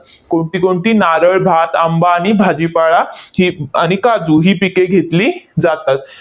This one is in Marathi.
कोणती कोणती? नारळ, भात, आंबा, आणि भाजीपाळा ही आणि काजू ही पिके घेतली जातात.